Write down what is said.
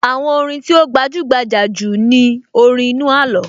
Àwọn orin tí ó gbajúgbajà jù ni orin inú àló